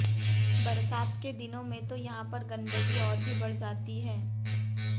बरसात के दिनों में तो यहां पर गंदगी और भी बढ़ जाती है